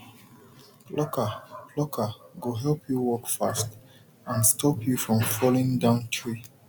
plucker plucker go help you work fast and stop you from falling down tree